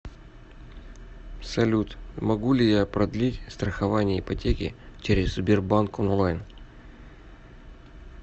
салют могу ли я продлить страхование ипотеки через сбербанк онлайн